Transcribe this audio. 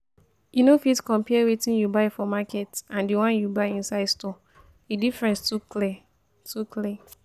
You no fit compare wetin you buy for market and the one you buy inside store, the difference too clear too clear